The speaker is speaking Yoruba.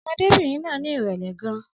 Ọmọdébìnrin náà ní ìrẹ̀lẹ̀ gan